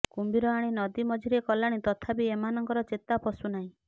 କୁମ୍ଭୀର ଆଣି ନଦୀ ମଝିରେ କଲାଣି ତଥାପି ଏମାନଙ୍କର ଚେତା ପଶୁ ନାହିଁ